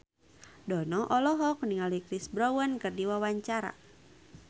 Dono olohok ningali Chris Brown keur diwawancara